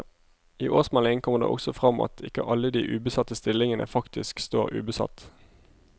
I årsmeldingen kommer det også frem at ikke alle de ubesatte stillingene faktisk står ubesatt.